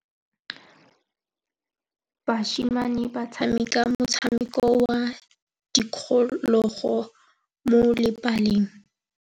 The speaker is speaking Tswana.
Basimane ba tshameka motshameko wa modikologô mo lebaleng.